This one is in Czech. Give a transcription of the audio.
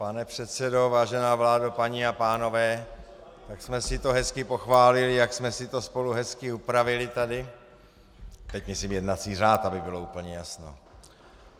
Pane předsedo, vážená vládo, paní a pánové, tak jsme si to hezky pochválili, jak jsme si to spolu hezky upravili tady - teď myslím jednací řád, aby bylo úplně jasno.